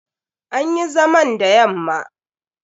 An yi zaman da yamma.